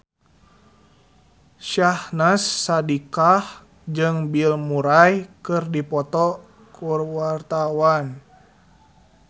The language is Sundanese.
Syahnaz Sadiqah jeung Bill Murray keur dipoto ku wartawan